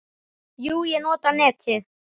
Jú, ég nota netið.